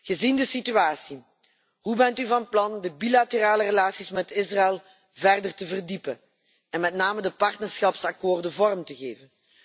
Gezien de situatie, hoe bent u van plan de bilaterale relaties met Israël verder te verdiepen, en met name de partnerschapsakkoorden vorm te geven?